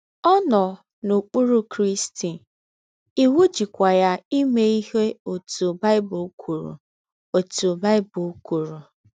Ọ nọ n’okpụrụ Krịsti, iwụ jịkwa ya ime ihe ọtụ Baịbụl kwụrụ ọtụ Baịbụl kwụrụ.